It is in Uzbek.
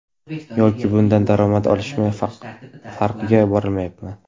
Yoki bundan daromad olishmi, farqiga borolmayapman.